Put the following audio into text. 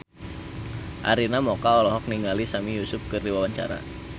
Arina Mocca olohok ningali Sami Yusuf keur diwawancara